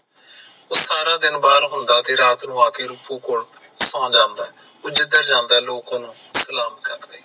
ਉਹ ਸਾਰੇ ਦਿਨ ਬਾਹਰ ਘੁੰਮਦਾ ਰਿਹਾ ਫੇਰ ਰਾਤ ਨੂੰ ਆਕੇ ਰੁਫੂ ਕੋਲ ਸੌ ਜਾਂਦਾ ਹੈ, ਉਹ ਜਿੰਦਰ ਜਾਂਦਾ ਲੋਕ ਓਹਨੂੰ ਸਲਾਮ ਕਰਦੇ ਹਨ